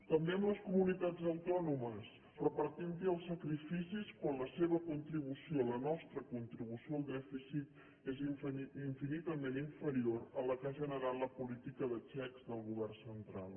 també amb les comunitats autònomes repartint hi els sacrificis quan la seva contribució la nostra contribució al dèficit és infinitament inferior a la que ha generat la política de xecs del govern central